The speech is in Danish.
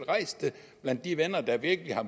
rejst det blandt de venner der virkelig har